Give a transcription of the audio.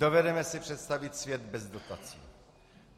Dovedeme si představit svět bez dotací.